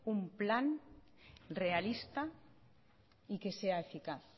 un plan realista y que sea eficaz